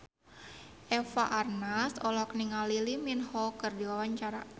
Eva Arnaz olohok ningali Lee Min Ho keur diwawancara